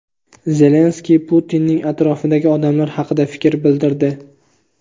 Zelenskiy Putinning atrofidagi odamlar haqida fikr bildirdi:.